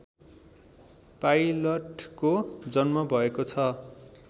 पाइलटको जन्म भएको छ